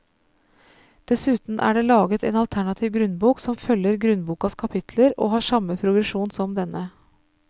Dessuten er det laget en alternativ grunnbok som følger grunnbokas kapitler og har samme progresjon som denne.